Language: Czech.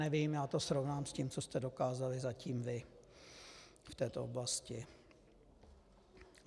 Nevím, já to srovnám s tím, co jste dokázali zatím vy v této oblasti.